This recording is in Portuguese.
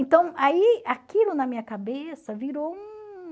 Então aí aquilo na minha cabeça virou um...